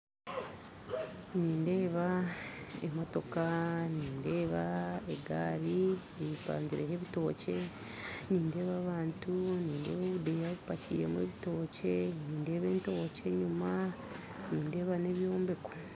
Nindeeba emotooka, nindeeba egaari epangyireho ebitookye ,nindeeba abantu, nindeeba obudeeya bupakiremu ebitookye, nindeeba entookye enyima, nindeeba nebyombeko